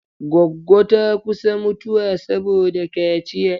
Goggo ta kusa mutuwa saboda kaciya.